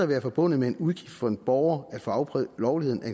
være forbundet med en udgift for en borger at få afprøvet lovligheden af